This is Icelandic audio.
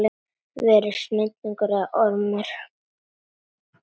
Verði snigill eða ormur.